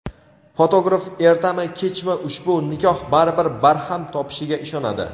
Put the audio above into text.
fotograf ertami-kechmi ushbu nikoh baribir barham topishiga ishonadi.